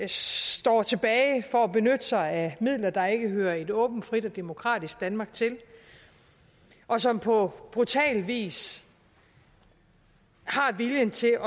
står tilbage for at benytte sig af midler der ikke hører et åbent frit og demokratisk danmark til og som på brutal vis har viljen til